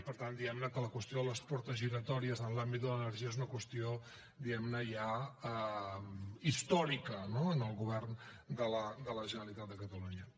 i per tant diguem ne que la qüestió de les portes giratòries en l’àmbit de l’energia és una qüestió ja històrica no en el govern de la generalitat de catalunya